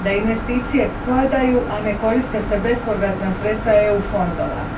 da investicije padaju, a ne koriste se bespovratna sredstva EU fondova.